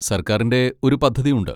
സർക്കാരിന്റെ ഒരു പദ്ധതിയുണ്ട്.